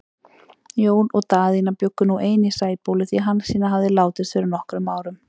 Jón og Daðína bjuggu nú ein í Sæbóli, því Hansína hafði látist fyrir nokkrum árum.